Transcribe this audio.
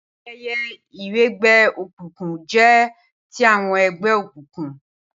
Ayẹyẹ ìwẹgbẹ́ òkùnkùn jẹ́ ti àwọn ẹgbẹ́ òkùnkùn